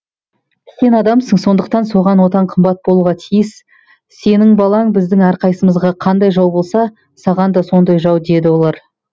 сен адамсың сондықтан саған отан қымбат болуға тиіс сенің балаң біздің әрқайсымызға қандай жау болса саған да сондай жау деп еді олар